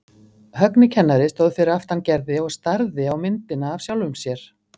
Högni kennari stóð fyrir aftan Gerði og starði á myndina af sjálfum sér.